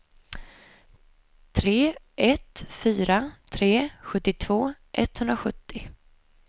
tre ett fyra tre sjuttiotvå etthundrasjuttio